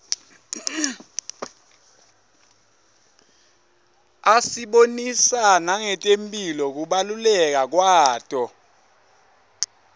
asibonisa nangetemphilo kubaluleka kwato